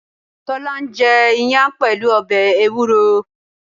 Tólá ń jẹ iyán pẹ̀lú ọbè ewúro